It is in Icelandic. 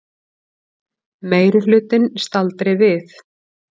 Meirihlutinn staldri við